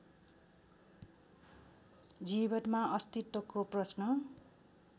जीवनमा अस्तित्वको प्रश्न